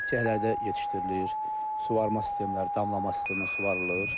Dibçəklərdə yetişdirilir, suvarma sistemləri, damlama sistemi ilə suvvarılır.